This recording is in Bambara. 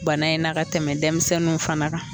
Bana in n'a ka tɛmɛ denmisɛnnu fana